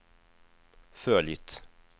följt